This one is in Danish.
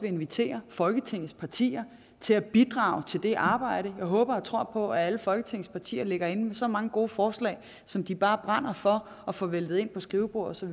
invitere folketingets partier til at bidrage til det arbejde jeg håber og tror på at alle folketingets partier ligger inde med så mange gode forslag som de bare brænder for at få væltet ind på skrivebordet så